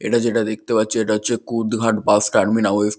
এটা যেটা দেখতে পাচ্ছো এটা হচ্ছে কুদঘাট বাস টার্মিনাল ওয়েস্ট ।